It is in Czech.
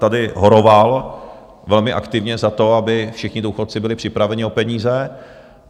Tady horoval velmi aktivně za to, aby všichni důchodci byli připraveni o peníze.